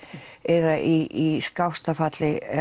eða í skásta falli